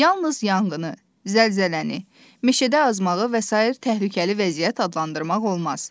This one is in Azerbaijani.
Yalnız yanğını, zəlzələni, meşədə azmağı və sair təhlükəli vəziyyət adlandırmaq olmaz.